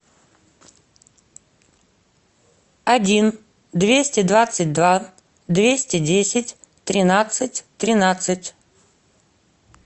один двести двадцать два двести десять тринадцать тринадцать